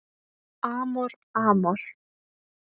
Amor Amor